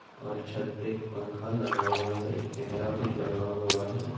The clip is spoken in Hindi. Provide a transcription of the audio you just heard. और छात पे एक पंखा लगा हुआ है एक कैमरा भी लगा हुआ है।